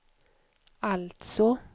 alltså